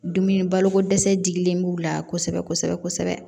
Dumuni baloko dɛsɛ jigilen b'u la kosɛbɛ kosɛbɛ kosɛbɛ